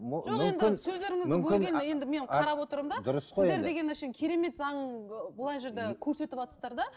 сіздер деген әшейін керемет заң мына жерде көрсетіватсыздар да